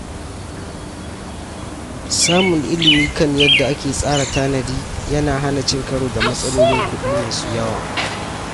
Samun ilimi kan yadda ake tsara tanadi yana hana cin karo da matsalolin kuɗi masu yawa.